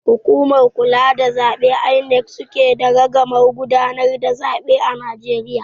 Hukumar kula da zaɓe (INEC) suke da ragamar gudanar da zaɓe a Najeriya